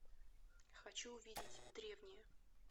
хочу увидеть древние